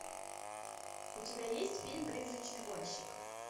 у тебя есть фильм призрачный гонщик